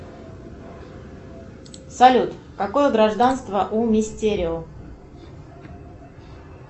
салют какое гражданство у мистерио